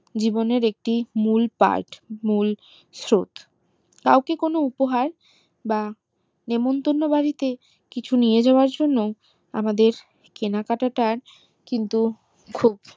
জীবনের একটি মূল part মূল শ্রুত কেউ ক কোনো উপহার বা নেমন্তন্ন বাড়িতে কিছু নিয়ে যাওয়ার জন্য আমাদের কেনাকাটার কিন্তু খুব